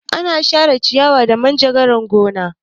Ana share ciyawa da manjagara a gona.